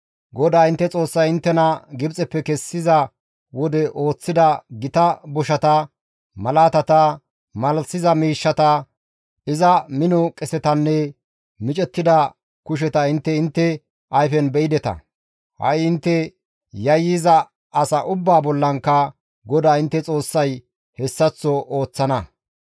GODAA intte Xoossay inttena Gibxeppe kessiza wode ooththida gita boshata, malaatata, malalisiza miishshata, iza mino qesetanne micettida kusheta intte intte ayfen be7ideta; ha7i intte yayyiza asa ubbaa bollankka GODAA intte Xoossay hessaththo ooththana.